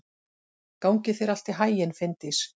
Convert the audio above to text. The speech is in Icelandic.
Gangi þér allt í haginn, Finndís.